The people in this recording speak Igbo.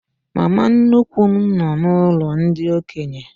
Mama nnukwu m nọ n'ụlọ ndị okenye.